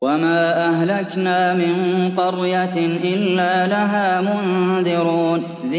وَمَا أَهْلَكْنَا مِن قَرْيَةٍ إِلَّا لَهَا مُنذِرُونَ